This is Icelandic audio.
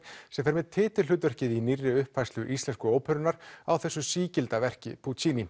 sem fer með titilhlutverkið á nýrri uppfærslu íslensku óperunnar á þessu sígilda verki